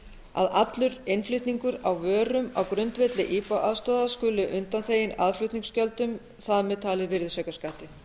að allur innflutningur á vörum á grundvelli ipa aðstoðar skuli undanþeginn aðflutningsgjöldum þar með talið virðisaukaskatti